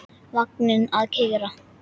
Vagninn að keyra.